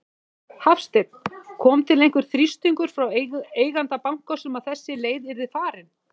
Hafsteinn: Kom til einhver þrýstingur frá eiganda bankans um að þessi leið yrði farin?